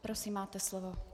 Prosím, máte slovo.